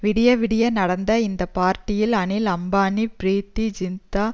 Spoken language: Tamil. விடிய விடிய நடந்த இந்த பார்ட்டியில் அனில் அம்பானி ப்ரீத்தி ஜிந்தா